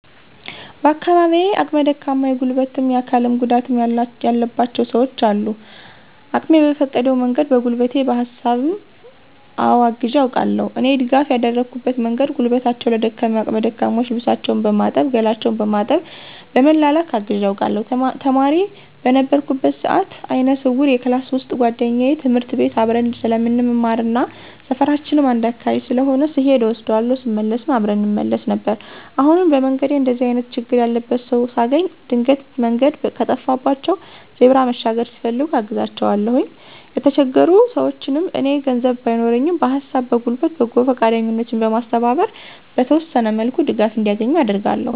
በአካባቢየ አቅመ ደካማ የጉልበትም የአካልም ጉዳትም ያለባቸው ሰውች አሉ። አቅሜ በፈቀደው መንገድ በጉልበቴ በሀሳብም አወ አግዤ አውቃለሁ። እኔ ድጋፍ ያደረኩበት መንገድ ጉልበታቸው ለደከመ አቅመ ደካሞች ልብሳቸውን በማጠብ ገላቸውን በማጠብ በመላላክ አግዤ አውቃለሁ። ተማሪ በነበርኩበት ሰአት አይነ ስውር የክላስ ውሰጥ ጉዋደኛየ ትምህርት ቤት አብረን ስለምንማርና ሰፈራችንም አንድ አካባቢ ስለሆነ ስሔድ እወስዳታለሁ ስመለስም አብረን እንመለስ ነበር። አሁንም በመንገዴ እንደዚህ አይነት ችግር ያለበት ሰው ሳገኝ ድንገት መንገድ ከጠፋባቸው ዜብራ መሻገር ሲፈልጉ አግዛቸዋለሁኝ። የተቸገሩ ሰውችንም እኔ ገንዘብ ባይኖረኝም በሀሳብ በጉልበት በጎ ፈቃደኞችን በማስተባበር በተወሰነ መልኩ ድጋፍ እንዲያገኙ አደርጋለሁ።